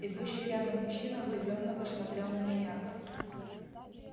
идущий рядом мужчина удивлённо посмотрел на меня